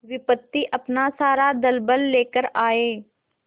विपत्ति अपना सारा दलबल लेकर आए